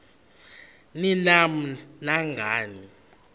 ni nam nangani